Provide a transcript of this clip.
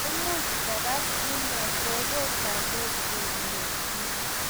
Koimuch kogas inee kopotandos kelyiek